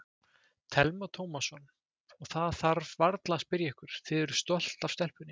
Telma Tómasson: Og það þarf varla að spyrja ykkur, þið eruð stolt af stelpunni?